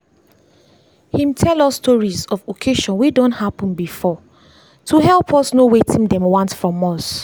him tell us stories of occasions wey done happen before to help us know wetin dem want from us.